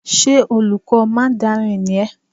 Ṣé olùkọ́ mandarin ni ẹ́?